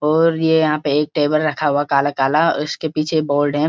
और ये यहाँ पे एक टेबिल रखा हुआ है काला-काला और इसके पीछे ये हैं।